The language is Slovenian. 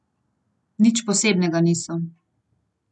Nič posebnega niso.